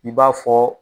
I b'a fɔ